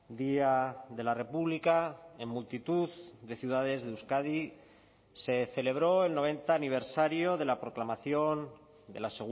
día de la república en multitud de ciudades de euskadi se celebró el noventa aniversario de la proclamación de la